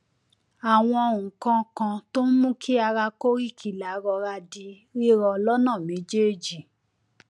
àwọn nǹkan kan tó ń mú kí ara koríkìlà rọra di rírọ lọnà méjèèjì